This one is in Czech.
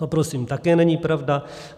To prosím také není pravda.